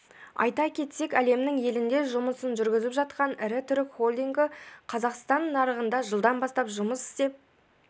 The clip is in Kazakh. айта кетсек әлемнің елінде жұмысын жүргізіп жатқан ірі түрік холдингі қазақстан нарығында жылдан бастап жұмыс істеп